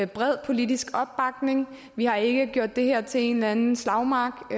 bred politisk opbakning vi har ikke gjort det her til en eller anden slagmark